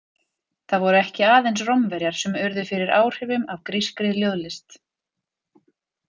Það voru ekki aðeins Rómverjar sem urðu fyrir áhrifum af grískri ljóðlist.